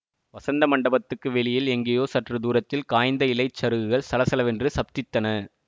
வஸந்த மண்டபத்துக்கு வெளியில் எங்கேயோ சற்று தூரத்தில் காய்ந்த இலைச் சருகுகள் சலசலவென்று சப்தித்தன